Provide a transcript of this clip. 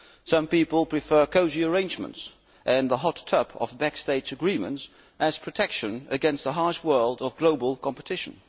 Some people prefer cosy arrangements and the hot tub of backstage agreements as protection against the harsh world of global competition.